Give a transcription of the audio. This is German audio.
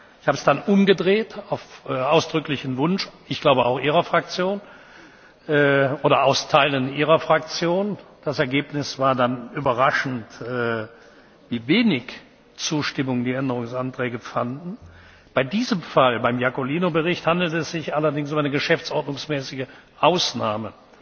Ich habe es dann auf ausdrücklichen Wunsch ich glaube, auch Ihrer Fraktion oder aus Teilen Ihrer Fraktion umgedreht. Das Ergebnis war dann überraschend, wie wenig Zustimmung die Änderungsanträge fanden. Bei diesem Fall, beim Bericht Iacolino, handelt es sich allerdings um eine geschäftsordnungsmäßige Ausnahme.